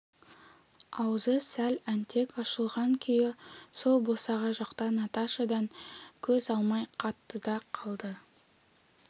аузы сәл әнтек ашылған күйі сол босаға жақта наташадан көз алмай қатты да қалды